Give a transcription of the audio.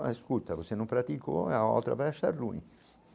Mas escuta, você não praticou, aí a outra vai deixar ruim.